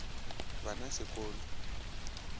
ba na se ko lo